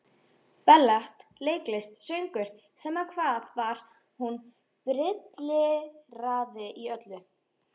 Ballett, leiklist, söngur, sama hvað var, hún brilleraði í öllu.